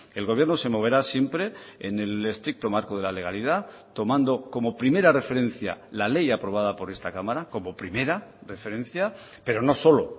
el gobierno se moverá siempre en el estricto marco de la legalidad tomando como primera referencia la ley aprobada por esta cámara como primera referencia pero no solo